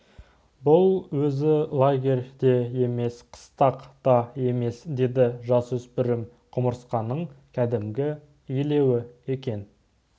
бұл өзі лагерь де емес қыстақ та емес деді жасөспірім құмырсқаның кәдімгі илеуі екен